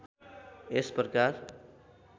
यस प्रकार